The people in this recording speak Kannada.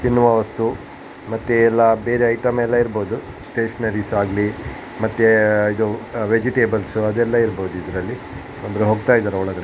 ತಿನ್ನುವ ವಸ್ತು ಮತ್ತೆ ಎಲ್ಲ ಬೇರೆಯೆ ಐಟಮ್ ಎಲ್ಲ ಇರ್ಬಹುದು ಸ್ಟೇಷನರೀಸ್ ಆಗ್ಲಿ ಮತ್ತೆ ಇದು ವೆಜಿಟೇಬಲ್ಸ್ ಅದೆಲ್ಲ ಇರ್ಬಹುದು ಇದರಲ್ಲಿ ಅಂದ್ರೆ ಹೋಗ್ತಾ ಇದ್ದಾರೆ ಒಳಗಡೆ --